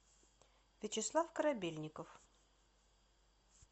вячеслав корабельников